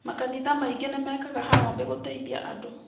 Makanitha maingĩ nĩ mekaga harambĩ gũteithia andũ.